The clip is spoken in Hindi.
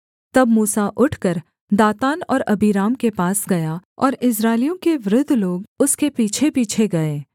तब मूसा उठकर दातान और अबीराम के पास गया और इस्राएलियों के वृद्ध लोग उसके पीछेपीछे गए